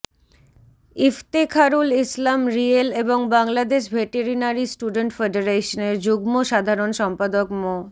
ইফতেখারুল ইসলাম রিয়েল এবং Bangladesh veterinary student ফেডারেশনের যুগ্ম সাধারণ সম্পাদক মো